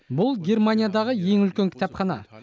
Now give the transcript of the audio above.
бұл германиядағы ең үлкен кітапхана